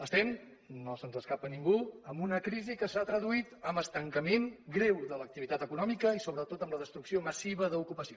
estem no se’ns escapa a ningú en una crisi que s’ha traduït en estancament greu de l’activitat econòmica i sobretot en la destrucció massiva d’ocupació